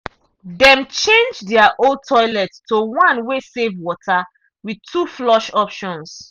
dem change their old toilet to one wey save water with two flush options.